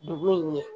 Dugu in ɲɛ